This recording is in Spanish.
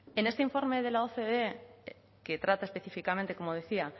en este informe de la ocde que trata específicamente como decía